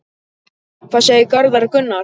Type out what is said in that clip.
Hvað segir Garðar Gunnar?